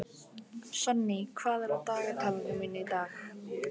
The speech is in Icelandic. Sonný, hvað er á dagatalinu mínu í dag?